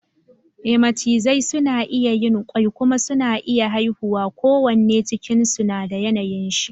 E Macizai suna iya yin kwai kuma suna iya haifuwa ko wanne cikin su na da yanayin shi